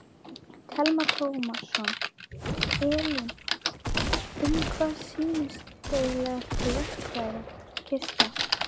Telma Tómasson: Elín, um hvað snýst eiginlega þessi verkfærakista?